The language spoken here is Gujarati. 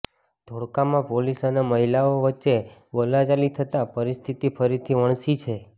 ધોળકામાં પોલીસ અને મહિલાઓ વચ્ચે બોલાચાલી થતાં પરિસ્થિતિ ફરીથી વણસી છે